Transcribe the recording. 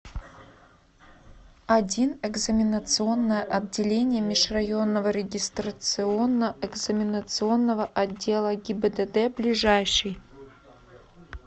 один экзаменационное отделение межрайонного регистрационно экзаменационного отдела гибдд ближайший